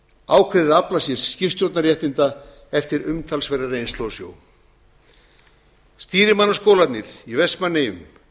ákveðið að afla sér skipstjórnarréttinda eftir umtalsverða reynslu á sjó stýrimannaskólarnir í vestmannaeyjum